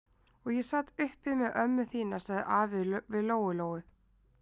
Og ég sat uppi með ömmu þína, sagði afi við Lóu-Lóu.